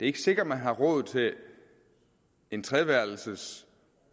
ikke sikkert man har råd til en treværelses